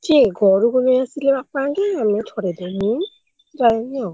କିଏ ଘରକୁ ନେଇଆସିଲେ ବାପା ହେରିକା ଆମେ ଛଡେଇଦିଅଉଁ ମୁଁ ଯାଏନି ଆଉ।